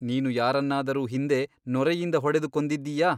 ನೀನು ಯಾರನ್ನಾದರೂ ಹಿಂದೆ ನೊರೆಯಿಂದ ಹೊಡೆದು ಕೊಂದಿದ್ದೀಯಾ?